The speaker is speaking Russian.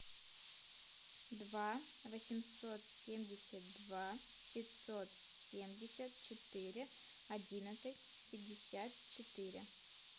два восемьсот семьдесят два пятьсот семьдесят четыре одиннадцать пятьдесят четыре